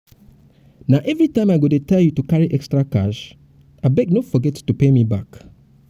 na everytime i go i go dey tell you to carry extra cash? abeg no forget to pay me back